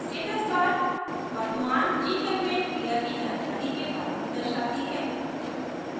status bar वर्तमान gchempaint क्रिया की जानकारी के bar में दर्शाती है